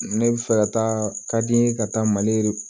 Ne bɛ fɛ ka taa ka di n ye ka taa mali